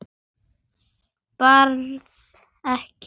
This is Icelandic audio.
Berð ekki.